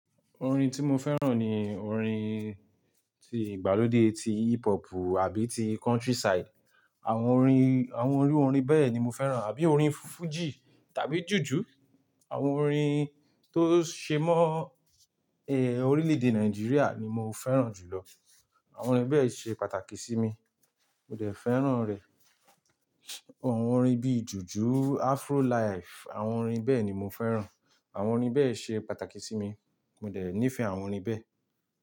Orin tí mo fẹ́ràn ni orin ti ìgbàlódé, ti hip hop àbí ti country side. Àwọn orin, àwọn iru orin bẹ́ẹ̀ ni mo fẹ́ràn, àbí orin fújì, tàbí jùjú. Àwọn orin tó ṣe mọ́, e, orílè-èdè Nàìjíríà ni mo fẹ́ràn jùlọ. Àwọn orin bẹ́ẹ̀ ṣe pàtàkì sí mi, mo dẹ̀ fẹ́ràn rẹ. Àwọn orin bí jùjú, Afro life, àwọn orin bẹ́ẹ̀ ni mo fẹ́ràn. Àwọn orin bẹ́ẹ̀ ṣe pàtàkì sí mi, mo dẹ̀ nífẹ̀ẹ́ àwọn orin bẹ́ẹ̀